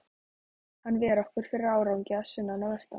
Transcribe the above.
Hann ver okkur fyrir ágangi að sunnan og vestan.